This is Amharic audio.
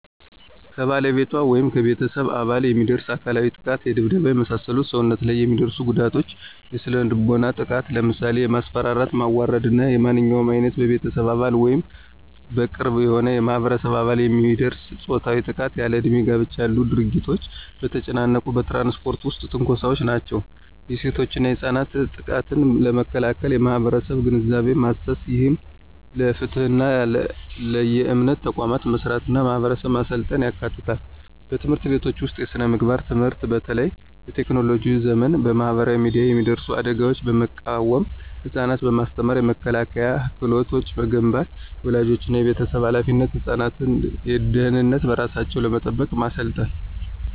ከባለቤቷ ወይም ከቤተሰብ አባል የሚደርስ አካላዊ ጥቃት የድብደባ፣ የመሳሰሉ ሰውነት ላይ የሚደርሱ ጉዳቶች። የስነ-ልቦናዊ ጥቃት ለምሳሌ የማስፈራራት፣ ማዋረድ እና ማንኛውም ዓይነት በቤተሰብ አባል ወይም በቅርብ የሆነ የማህበረሰብ አባል የሚደርስ ፆታዊ ጥቃት። ያለእድሜ ጋብቻ ያሉ ድርጊቶች። በተጨናነቁ በትራንስፖርት ውስጥ ትንኮሳዎች ናቸው። የሴቶችና ህጻናት ጥቃትን ለመከላከል የማህበረሰብ ግንዛቤ ማሰስ፣ ይህም ለፍትህና ለየእምነት ተቋማት መስራትና ማህበረሰቡን ማሰልጠን ያካትታል። በትምህርት ቤቶች ውስጥ የስነ-ምግባር ትምህርት በተለይ በቴክኖሎጂ ዘመን በማህበራዊ ሚዲያ የሚደርሱ አደጋዎችን በመቃወም ህፃናትን በማስተማር የመከላከያ ክህሎት መገንባት። · የወላጆችና የቤተሰብ ኃላፊነት ህፃናትን ደህንነታቸውን በራሳቸው ለመጠበቅ ማሰልጠን።